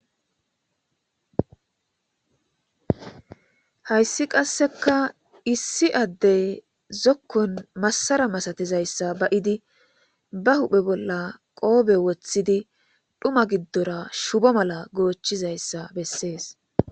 hayssi qasseka issi addey zokkon massara masatizayssa ba7idi ba huphe bolla qoobe woththidi dhuma giddora shubo mala goochizayssa bessees